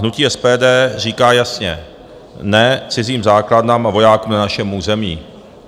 Hnutí SPD říká jasně ne cizím základnám a vojákům na našem území.